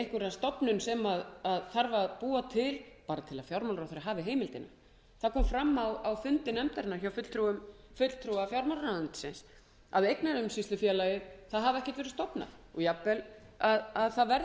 einhverja stofnun sem þarf að búa til bara til að fjármálaráðherra hafi heimildina það kom fram á fundi nefndarinnar hjá fulltrúa fjármálaráðuneytisins að eignaumsýslufélagið hafi ekkert verið stofnað og jafnvel að það verði ekkert